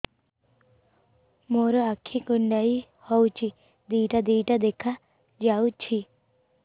ମୋର ଆଖି କୁଣ୍ଡାଇ ହଉଛି ଦିଇଟା ଦିଇଟା ଦେଖା ଯାଉଛି